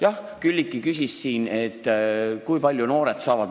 Jah, Külliki küsis siin, kui palju noored saavad.